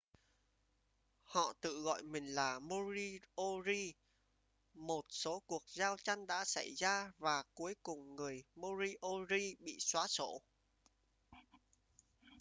họ tự gọi mình là moriori một số cuộc giao tranh đã xảy ra và cuối cùng người moriori bị xóa sổ